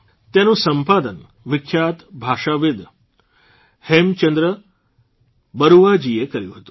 તેનું સંપાદન વિખ્યાત ભાષાવિદ હેંમંચંદ્ર બરૂઆજીએ કર્યું હતું